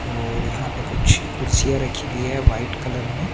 और यहा पे कुछ कुर्सिय रखी हुई हे वाइट कलर में--